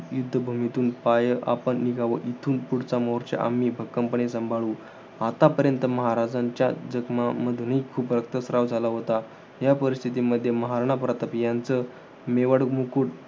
युद्धभूमीतून पाय आपण निघावं. इथून पुढचा मोर्चा आम्ही भक्कमपणे सांभाळू. आतापर्यंत महाराजांच्या जखमांमधूनही खूप रक्तस्त्राव झाला होता. या परिस्थितीमध्ये महाराणा प्रताप यांचं मेवाड मुकुट